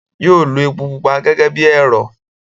yóó lo epo pupa gẹ́gẹ́ bí ẹ̀rọ̀.